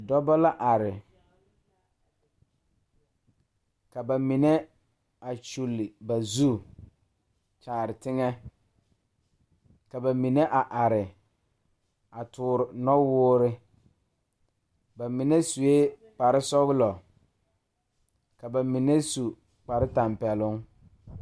Dɔbɔ la are ka ba mine a kyule ba zu kyaare teŋɛ ka ba mine a are a toore nɔwoore ba mine suee kparesɔglɔ ka ba mine su kparetapɛloŋ.